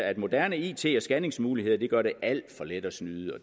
at moderne it og scanningsmuligheder gør det alt for let at snyde og